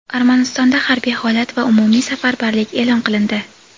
Armanistonda harbiy holat va umumiy safarbarlik e’lon qilindi.